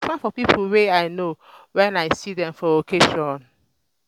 i dey smile for pipo wey i know wen i see dem for occasion.